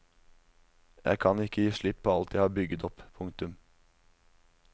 Jeg kan ikke gi slipp på alt jeg har bygget opp. punktum